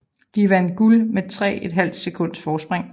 De vandt guld med 3½ sekunds forspring